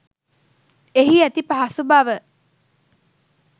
එහි ඇති පහසු බව